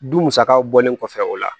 Du musakaw bɔlen kɔfɛ o la